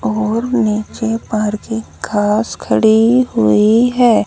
और नीचे parking cars खड़ी हुई हैं।